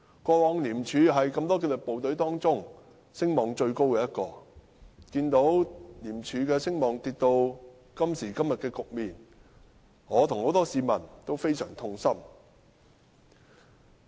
過往廉署是多個紀律部隊當中聲望最高的，看到廉署的聲望跌至今時今日的局面，我與很多市民都非常痛心。